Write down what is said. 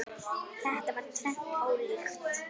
Þetta er tvennt ólíkt.